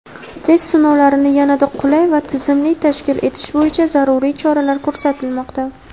test-sinovlarini yanada qulay va tizimli tashkil etish bo‘yicha zaruriy choralar ko‘rilmoqda.